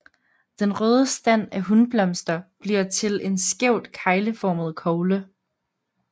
Den røde stand af hunblomster bliver til en skævt kegleformet kogle